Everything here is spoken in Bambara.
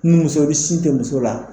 Ni muso ni sin tɛ muso la